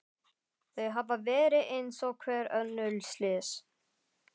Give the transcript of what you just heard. Þau hafa verið eins og hver önnur slys.